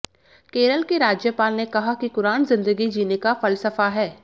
केरल के राज्यपाल ने कहा कि कुरान जिंदगी जीने का फलसफा है